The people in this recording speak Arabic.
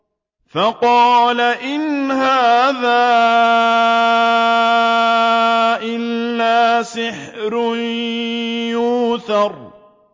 فَقَالَ إِنْ هَٰذَا إِلَّا سِحْرٌ يُؤْثَرُ